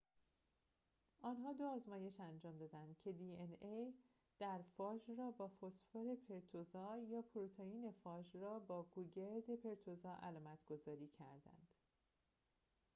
آنها دو آزمایش انجام دادند که دی‌ان‌ای در فاژ را با فسفر پرتوزا یا پروتئین فاژ را با گوگرد پرتوزا علامت‌گذاری کردند